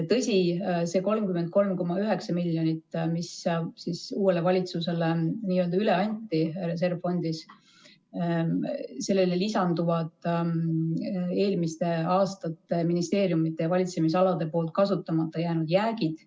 Tõsi, see 33,9 miljonit, mis uuele valitsusele n-ö üle anti reservfondis, sellele lisanduvad eelmiste aastate ministeeriumide valitsemisalade kasutamata jäänud jäägid.